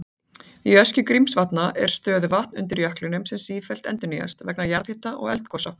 Í öskju Grímsvatna er stöðuvatn undir jöklinum sem sífellt endurnýjast vegna jarðhita og eldgosa.